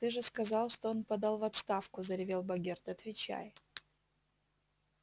ты же сказал что он подал в отставку заревел богерт отвечай